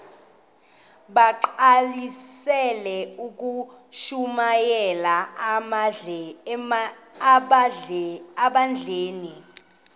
bagqalisele ukushumayela ebandleni